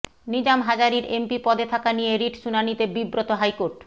নিজাম হাজারীর এমপি পদে থাকা নিয়ে রিট শুনানিতে বিব্রত হাইকোর্ট